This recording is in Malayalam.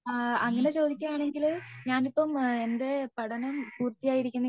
ഏഹ്ഹ് അങ്ങനെ ചോദിക്കുകയാണെങ്കിൽ ഞാൻ ഇപ്പൊ എന്റെ പഠനം പൂർത്തിയായിരിക്കുന്ന